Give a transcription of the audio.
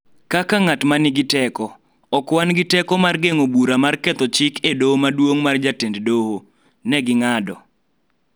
Kaka ng�at ma nigi teko, ok wan gi teko mar geng�o bura mar ketho chik e Doho maduong� mar jatend doho, ne ging'ado.